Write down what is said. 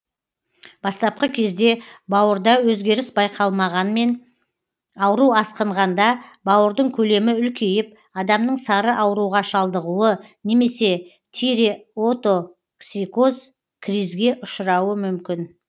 бастапқы кезде бауырда өзгеріс байқалмағанмен ауру асқынғанда бауырдың көлемі үлкейіп адамның сары ауруға шалдығуы немесе тиреотоксикоз кризге ұшырауы мүмкін